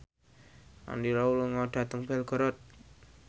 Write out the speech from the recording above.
Andy Lau lunga dhateng Belgorod